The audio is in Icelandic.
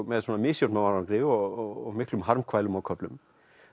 með misjöfnum árangri og miklum harmkvælum á köflum